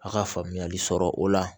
A ka faamuyali sɔrɔ o la